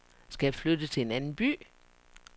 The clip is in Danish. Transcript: Skal jeg flytte til en anden by?